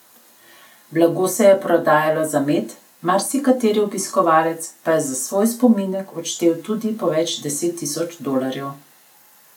Blago se je prodajalo za med, marsikateri obiskovalec pa je za svoj spominek odštel tudi po več deset tisoč dolarjev.